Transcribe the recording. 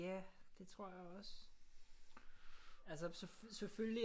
Ja det tror jeg også altså selvfølgelig